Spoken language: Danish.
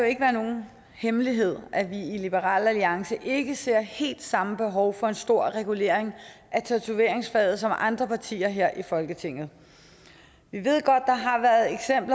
ikke være nogen hemmelighed at vi i liberal alliance ikke ser helt samme behov for en stor regulering af tatoveringsfaget som andre partier her i folketinget vi ved godt